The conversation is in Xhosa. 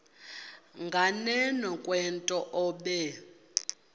nganeno kwento obe